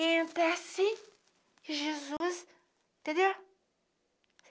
Entra assim, e Jesus... Entendeu?